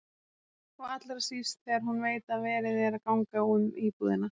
Og allra síst þegar hún veit að verið er að ganga um íbúðina.